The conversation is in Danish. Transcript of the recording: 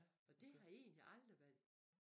Og det har egentlig aldrig været